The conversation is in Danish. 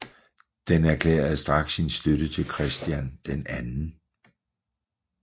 Den erklærede straks sin støtte til Christian 2